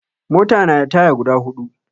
Mota na da taya guda huɗu